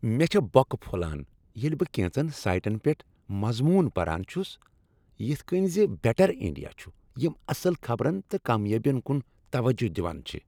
مےٚ چھےٚ بۄکہٕ پھۄلان ییٚلہ بہٕ کینژن سایٹن پیٹھ مضمون پران چھُس یتھ کٔنۍ زِ بیٹر انڈیا چھ، یم اصٕل خبرن تہٕ کامیٲبین کُن توجہ دوان چھ۔